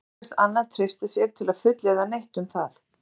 Ekki kvaðst Anna treysta sér til að fullyrða neitt um það.